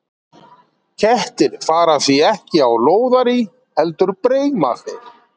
Kettir fara því ekki á lóðarí, heldur breima þeir.